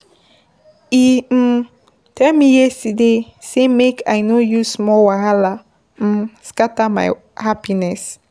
E[um] tell me yesterday sey make I no use small wahala um scatter my happiness.